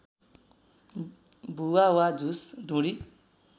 भुवा वा झुस ढुँडी